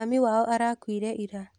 Mami wao arakuire ira.